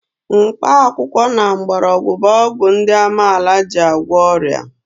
Mkpakwụkwọ na mgbọrọgwụ bụ ọgwụ ndị amaala ji agwọ ọrịa.